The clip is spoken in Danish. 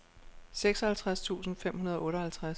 seksoghalvtreds tusind fem hundrede og otteoghalvtreds